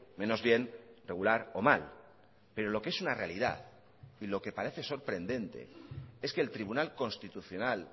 menos bien regular o mal pero lo que es una realidad y lo que parece sorprendente es que el tribunal constitucional